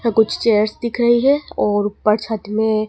यहां कुछ चेयर्स दिख रही हैं और ऊपर छत में--